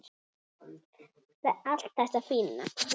Allt þetta fína.